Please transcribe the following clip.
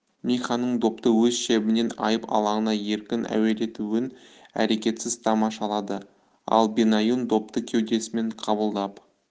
миханың допты өз шебінен айып алаңына еркін әуелетуін әрекетсіз тамашалады ал бенаюн допты кеудесімен қабылдап